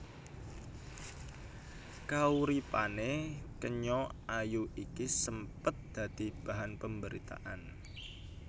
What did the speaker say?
Kauripané kenya ayu iki sempet dadi bahan pamberitaan